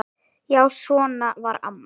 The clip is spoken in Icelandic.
Já, svona var amma.